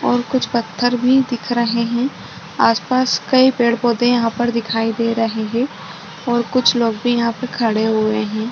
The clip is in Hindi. और कुछ पत्थर भी दिख रहे है आस पास कई पेड पौधे यहाँ पर दिखाई दे रहे है और कुछ लोग भी यहाँ पे खड़े हुए है।